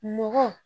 Mɔgɔ